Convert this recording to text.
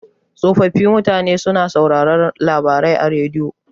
Tsofaffin mutane suna sauraron labarai a rediyo.